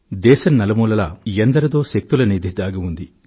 దేశం నలుమూలలా ఎందరి శక్తుల నిధో దాగి ఉంది